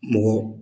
Mɔgɔ